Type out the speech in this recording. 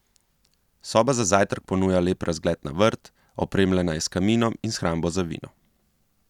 Soba za zajtrk ponuja lep razgled na vrt, opremljena je s kaminom in shrambo za vino.